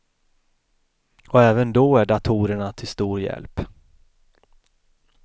Och även då är datorerna till stor hjälp.